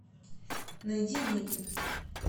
найди ники